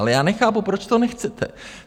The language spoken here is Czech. Ale já nechápu, proč to nechcete.